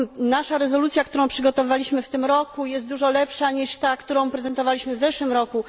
Nasza rezolucja, którą przygotowaliśmy w tym roku, jest dużo lepsza niż ta, którą prezentowaliśmy w zeszłym roku.